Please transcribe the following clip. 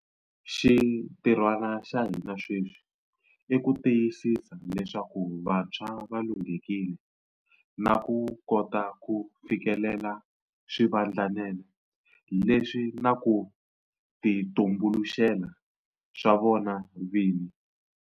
Xintirhwana xa hina sweswi i ku tiyisisa leswaku vantshwa va lunghekile na ku kota ku fikelela swivandlanene leswi na ku titumbuluxela swa vona vini.